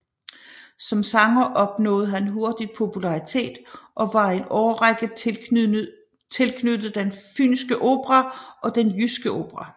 Som sanger opnåede han hurtig popularitet og var i en årrække tilknyttet Den Fynske Opera og Den Jyske Opera